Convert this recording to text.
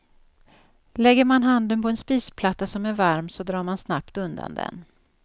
Lägger man handen på en spisplatta som är varm så drar man snabbt undan den.